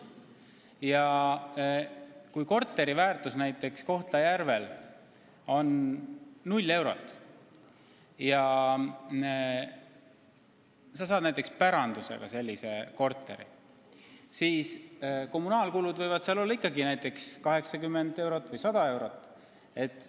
Ja kui korteri väärtus näiteks Kohtla-Järvel on 0 eurot ja sa saad pärandusega sellise korteri omanikuks, siis kommunaalkulud võivad seal olla 80 või 100 eurot kuus.